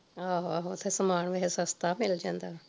ਆਹੋ ਆਹੋ ਓਥੇ ਸਮਾਨ ਵੈਸੇ ਸਸਤਾ ਮਿਲ ਜਾਂਦਾ